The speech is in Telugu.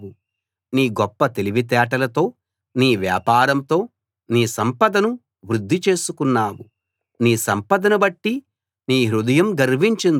నీ గొప్ప తెలివితేటలతో నీ వ్యాపారంతో నీ సంపదను వృద్ధి చేసుకున్నావు నీ సంపద బట్టి నీ హృదయం గర్వించింది